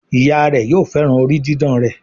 Ìyá rẹ yóò féràn orí didán rẹ.